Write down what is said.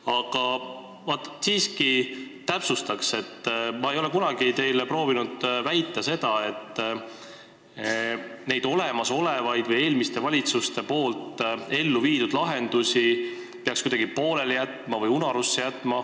Aga ma siiski täpsustan, et ma ei ole kunagi proovinud teile väita seda, nagu olemasolevaid või eelmiste valitsuste elluviidud lahendusi peaks pooleli või unarusse jätma.